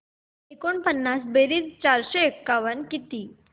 एकोणपन्नास बेरीज चारशे एकावन्न काय